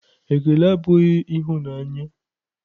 Ekele abụghị ịhụnanya.